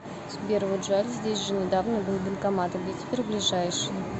сбер вот жаль здесь же недавно был банкомат а где теперь ближайший